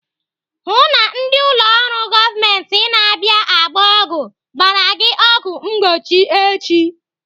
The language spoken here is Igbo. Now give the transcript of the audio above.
Hụụ na ndị ụlọ ọrụ gọọmenti na-abịa agba ọgwụ gbara gị ọgwụ mgbochi echi!